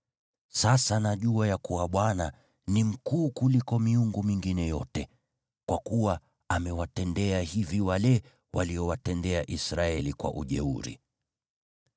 Sasa najua ya kuwa Bwana ni mkuu kuliko miungu mingine yote, kwa kuwa amewatendea hivi wale waliowatenda Israeli kwa ujeuri.”